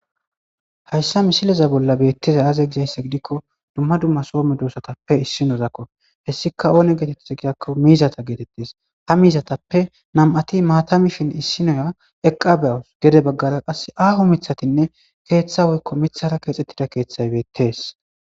hayssa misileza bolla beettiza aaze gizayssa gidikko dumma dumma soo medoosatappe issinozakko hessika oone geetettiza gidakko miizata geetettes ha miizatappe nam7ati maatamifin issinoya eqqabeawus gede baggara qas aaho mithatinne keeththa woykko mithara keexxettida keeththay beettees